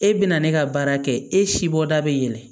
E bɛ na ne ka baara kɛ e si bɔ da bɛ yɛlɛ